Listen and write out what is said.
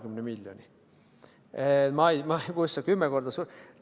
Ma ei tea, kust sa 10 korda suurema ...